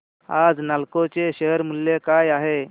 आज नालको चे शेअर मूल्य काय आहे